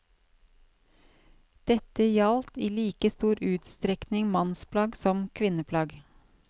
Dette gjaldt i like stor utstrekning mannsplagg som kvinneplagg.